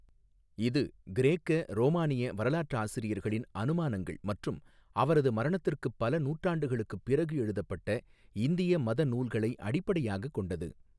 இது கிரேக்க, ரோமானிய வரலாற்றாசிரியர்களின் அனுமானங்கள் மற்றும் அவரது மரணத்திற்குப் பல நூற்றாண்டுகளுக்குப் பிறகு எழுதப்பட்ட இந்திய மத நூல்களை அடிப்படையாகக் கொண்டது.